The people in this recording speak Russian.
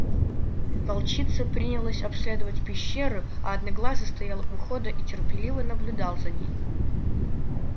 волчица принялась обследовать пещеру а одноглазый стоял у входа и терпеливо наблюдал за ней